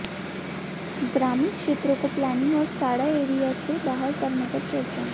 ग्रामीण क्षेत्रों को प्लानिंग और साडा एरिया से बाहर करने पर चर्चा